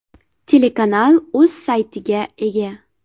Telekanal o‘z sayti ( )ga ega.